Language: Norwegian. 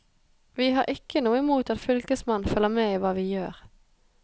Vi har ikke noe imot at fylkesmannen følger med i hva vi gjør.